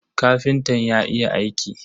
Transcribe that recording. Kafintan ya iya aiki.